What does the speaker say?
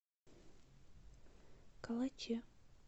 калаче